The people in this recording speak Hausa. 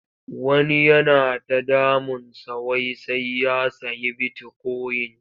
Wani yana ta damunsa wai sai ya sayi bitikoyin.